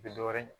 U bɛ dɔ wɛrɛ ɲini